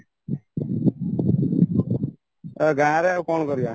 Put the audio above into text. ଗାଁରେ ଆଉ କ'ଣ କରିବା